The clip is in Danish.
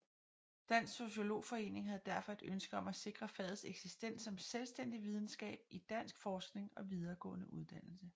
Dansk Sociologforening havde derfor et ønske om at sikre fagets eksistens som selvstændig videnskab i dansk forskning og videregående uddannelse